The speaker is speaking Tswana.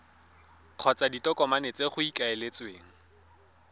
kgotsa ditokomane tse go ikaeletsweng